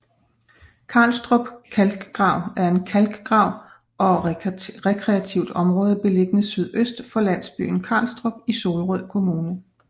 Karlstrup Kalkgrav er en kalkgrav og rekreativt område beliggende sydøst for landsbyen Karlstrup i Solrød Kommune